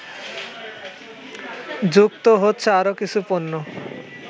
যুক্ত হচ্ছে আরও কিছু পণ্য